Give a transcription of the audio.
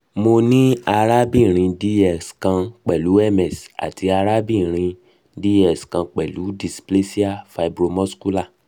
mo ni arakunrin dx kan pẹlu ms ati arabinrin dx kan pẹlu displasia fibromuscular